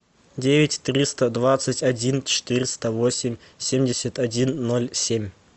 девять триста двадцать один четыреста восемь семьдесят один ноль семь